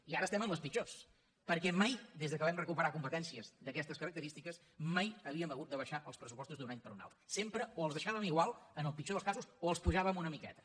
i ara estem en les pitjors perquè mai des que vam recuperar competències d’aquestes característiques mai havíem hagut d’abaixar els pressupostos d’un any per un altre sempre o els deixàvem igual en el pitjor dels casos o els apujàvem una miqueta